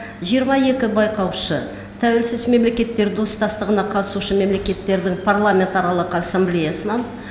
жиырма екі байқаушы тәуелсіз мемлекеттер достастығына қатысушы мемлекеттердің парламентаралық ассамблеясынан